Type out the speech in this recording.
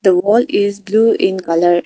The wall is blue in colour .